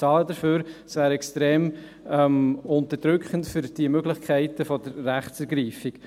Es wäre extrem unterdrückend für die Möglichkeiten der Rechtsergreifung.